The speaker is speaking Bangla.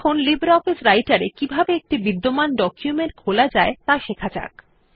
এখন লিব্রিঅফিস রাইটের এ কিভাবে একটি বিদ্যমান ডকুমেন্ট খোলা যায় ত়া শেখা যাক